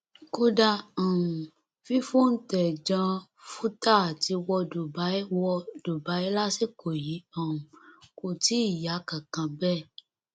kódà um fífòuntẹ jan vútà àti wọ dubai wọ dubai lásìkò yìí um kò tí ì yá kánkán bẹẹ